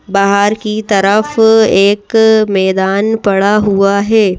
बाहर की तरफ एक मैदान पड़ा हुआ है।